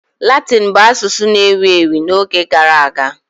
Latịni bụ asusụ na-ewu ewu n'oge gara aga.